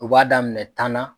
U b'a daminɛ tan na